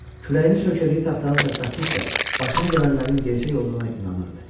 Kürəyini söykədiyi taxtanı tərpətdikcə, başına gələnlərin gerçək olduğuna inanırdı.